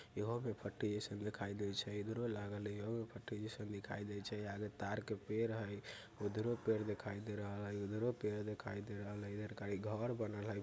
एहो में पट्टी जइसन देखाइल दे छै इधरो लागलेइयो पट्टी जइसन देखई दे छे आगे ताड़ के पेड़ हई उधरो पेड़ देखाई दे रहल हई उधरो पेड़ देखाई दे रहल हई इधर खाली घर बनल हई।